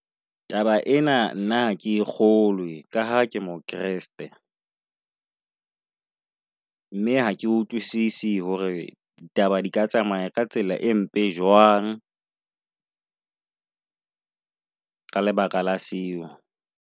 Taba ena nna hake e kgolwe ka ha ke mo kreste. Mme ha ke utlwisise hore ditaba di ka tsamaya ka tsela e mpe jwang ka lebaka la seo.